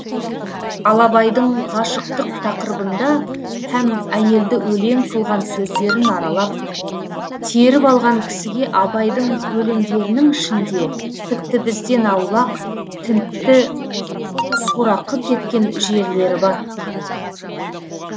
ал абайдың ғашықтық тақырыбында һәм әйелді өлең қылған сөздерін аралап теріп алған кісіге абайдың өлеңдерінің ішінде тіпті бізден аулақ тінтті сорақы кеткен жерлері бар